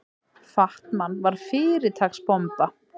Fat-Man var fyrirtaks bomba.